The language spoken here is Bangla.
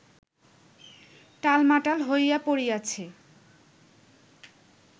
টালমাটাল হইয়া পড়িয়াছে